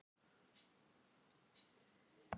Kemurðu á morgun?